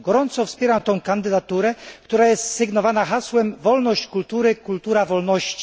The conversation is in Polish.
Gorąco wspieram tę kandydaturę, która jest sygnowana hasłem Wolność kultury kultura wolności.